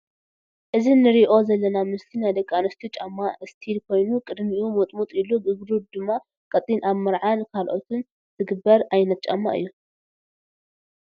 እዚ ንርኦ ዘለና ምስሊ ናይ ደቂኣንስትዮ ጫማ እስቢል ኮይኑ ቅድሚኡ ሙጥሙጥ ኢሉ እግሩ ድማ ቀጢን ኣብ መርዓን ካልኦትን ዝግበር ዓይነት ጫማ እዩ።